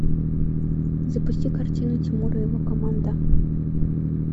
запусти картину тимур и его команда